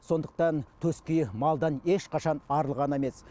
сондықтан төскейі малдан ешқашан арылған емес